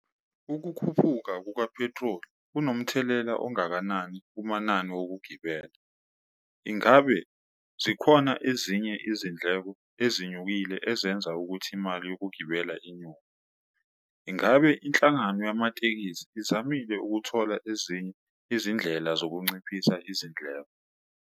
Ukukhuphuka kukaphethroli kunomthelela ongakanani kumanani wokugibela? Ingabe zikhona ezinye izindleko ezinyukile ezenza ukuthi imali yokugibela inyuke? Ingabe inhlangano yamatekisi izamile ukuthola ezinye izindlela zokunciphisa izindleko?